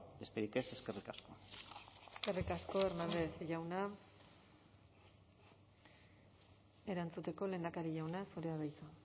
besterik ez eskerrik asko eskerrik asko hernández jauna erantzuteko lehendakari jauna zurea da hitza